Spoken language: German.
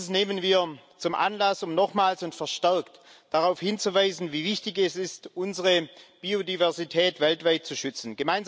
Dies nehmen wir zum Anlass, um nochmals und verstärkt darauf hinzuweisen, wie wichtig es ist, unsere Biodiversität weltweit zu schützen.